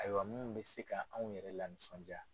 Ayiwa minnu bɛ se ka anw yɛrɛ la nisɔndiya